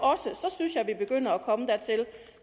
så synes jeg at vi begynder at komme dertil